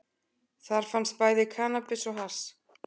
Þar fannst bæði kannabis og hass